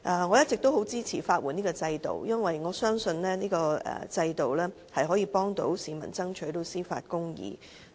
我一直很支持法律援助制度，因為我相信這個制度可以幫助市民爭取司法公義。